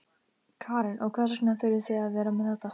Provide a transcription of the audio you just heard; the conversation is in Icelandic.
Karen: Og hvers vegna þurfið þið að vera með þetta?